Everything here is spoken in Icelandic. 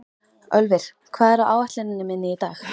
Ölvir, hvað er á áætluninni minni í dag?